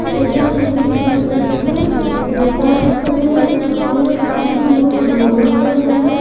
जगह है ये एक योगा स्थल है जहां पर काफी लोग योगा कर रहे हैं।